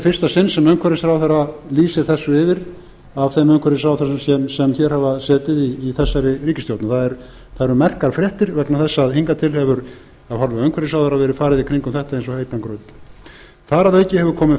fyrsta sinn sem umhverfisráðherra lýsir þessu yfir af þeim umhverfisráðherrum sem hér hafa setið í þessari ríkisstjórn það eru merkar fréttir vegna þess að hingað til hefur af hálfu umhverfisráðherra verið farið í kringum þetta eins og heitan graut þar að auki